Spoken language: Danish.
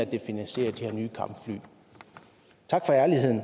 det finansierer de her nye kampfly tak for ærligheden